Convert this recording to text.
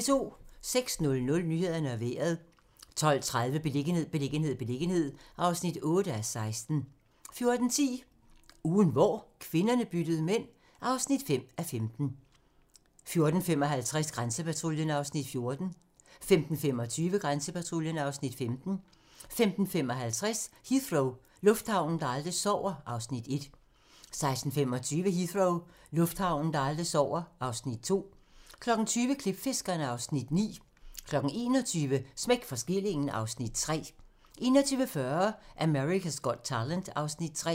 06:00: Nyhederne og Vejret 12:30: Beliggenhed, beliggenhed, beliggenhed (8:16) 14:10: Ugen hvor kvinderne byttede mænd (5:15) 14:55: Grænsepatruljen (Afs. 14) 15:25: Grænsepatruljen (Afs. 15) 15:55: Heathrow - lufthavnen, der aldrig sover (Afs. 1) 16:25: Heathrow - lufthavnen, der aldrig sover (Afs. 2) 20:00: Klipfiskerne (Afs. 9) 21:00: Smæk for skillingen (Afs. 3) 21:40: America's Got Talent (Afs. 3)